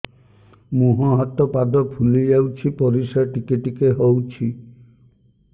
ମୁହଁ ହାତ ପାଦ ଫୁଲି ଯାଉଛି ପରିସ୍ରା ଟିକେ ଟିକେ ହଉଛି